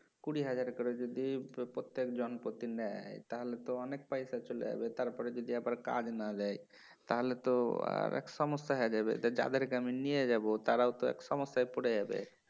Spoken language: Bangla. কুড়ি হাজার করে যদি প্রত্যেক জন প্রতি নেয় তাহলে তো অনেক পয়সা চলে যাবে তারপরে যদি আবার কাজ না দেয় তাহলে তো আরেক সমস্যা হয়ে যাবে যাদেরকে আমি নিয়ে যাবো তারাও তো এক সমস্যায় পরে যাবে